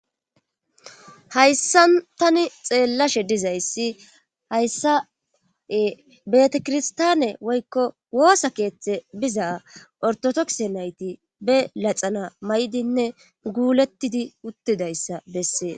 hayssan tani xeellashe dizayssi hayssae betakirstaane woykko woosa keeththe biza ortodokse nayti be laxana may7dinne guulettidi uttidayssa bessee